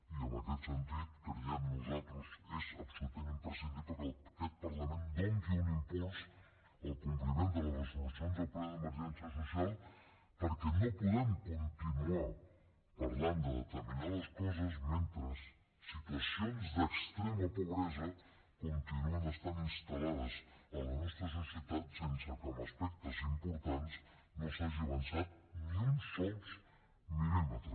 i en aquest sentit creiem nosaltres és absolutament imprescindible que aquest parlament doni un impuls al compliment de les resolucions del ple d’emergència social perquè no podem continuar parlant de determinades coses mentre situacions d’extrema pobresa continuen estant instal·lades a la nostra societat sense que en aspectes importants no s’hagi avançat ni un sol mil·límetre